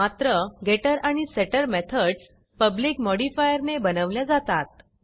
मात्र getterगेटटर आणि setterसेटर मेथडस publicपब्लिक मॉडिफायरने बनवल्या जातात